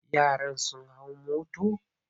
Yaran sun hau motor?